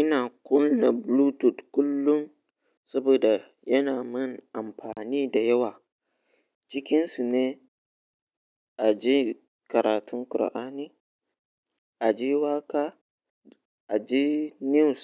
Ina kunna Bluetooth kullum saboda yana yi mani amfani da yawa. Cikinsa ne a ji karatun Kur'ani, a ji waƙa, a ji news